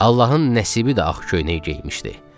Allahın Nəsibi də ağ köynək geymişdi.